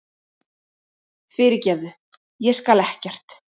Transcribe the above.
Fyrirgefðu. ég skal ekkert.